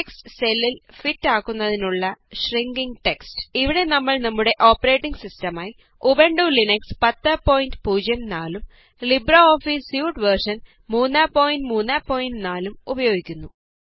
text സെല്ലില് fit ആകുന്നതിനുള്ള shrinking text ഇവിടെ നമ്മള് നമ്മുടെ ഓപ്പറേറ്റിംഗ് സിസ്റ്റം ആയി ഉബണ്ടു ലിനക്സ് 1004 ഉം ലിബ്രെഓഫീസ് സ്യൂട്ട് വേര്ഷന് 334 ലും ഉപയോഗിക്കുന്നു